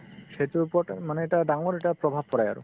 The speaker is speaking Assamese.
সেইটোৰ ওপৰতে মানে এটা ডাঙৰ এটা প্ৰভাৱ পেলাই আৰু